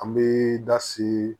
An bɛ da si